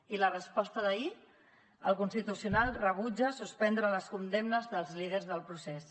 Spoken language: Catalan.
i la resposta d’ahir el constitucional rebutja suspendre les condemnes dels líders del procés